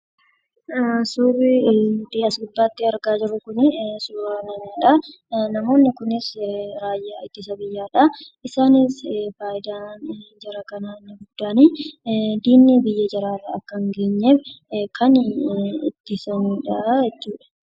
Suurri nuti as gubbaatti argaa jirru kun suuraa namaa dha. Namoonni kunis raayyaa ittisa biyyaa dha. Isaanis faayidaan jara kanaa inni guddaan diinni biyya jaraarra akka hin geenyeef kan ittisani dha jechuudha.